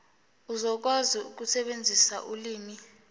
uzokwazi ukusebenzisa ulimi